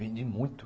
Vendi muito.